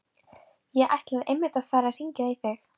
Ég ætlaði einmitt að fara að hringja í þig.